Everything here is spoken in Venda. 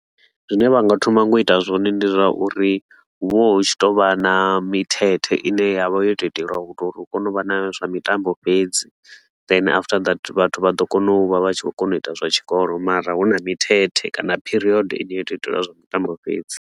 Zwine vha nga thoma ngo u ita zwone ndi zwa uri hu vha hu tshi tou vha na mithethe i ne ya vha yo tou itelwa u to uri hu kone u vha na zwa mitambo fhedzi. Then after that vhathu vha ḓo kona u vha vha tshi khou kona u ita zwa tshikolo mara hu na mithethe kana period i ne yo tou itelwa zwa mitambo fhedzi.